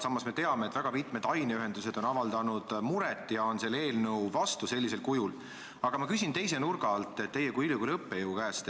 Samas me teame, et väga mitmed aineühendused on avaldanud muret ja on sellisel kujul selle eelnõu vastu, aga ma küsin teise nurga alt teie kui ülikooli õppejõu käest.